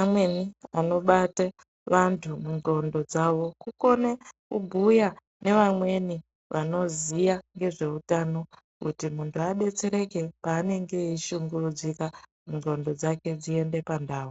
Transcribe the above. amweni anobata vanhu nxondo dzavo kukone kubhuya nevamweni vanoziya nezveutano kuti mundu adetsereke paanenge eishungurudzika nxondo dzake dziende pandau